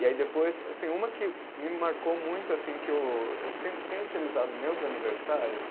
E aí depois, assim uma que me marcou muito assim que eu, eu tenho tenho utilizado meus aniversários,